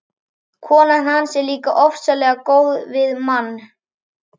Konan hans er líka ofsalega góð við mann.